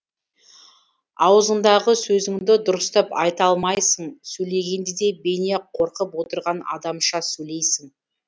аузыңдағы сөзіңді дұрыстап айта алмайсың сөйлегенде де бейне қорқып отырған адамша сөйлейсің